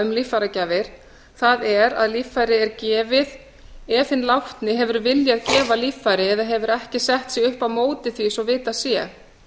um líffæragjafir það er að líffæri er gefið ef hinn látni hefur viljað gefa líffæri eða hefur ekki sett sig upp á móti því svo vitað sé